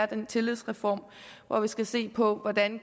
den tillidsreform hvor vi skal se på hvordan